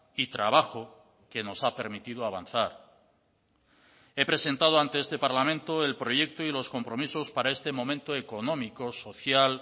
y trabajo que nos ha permitido avanzar he presentado ante este parlamento el proyecto y los compromisos para este momento económico social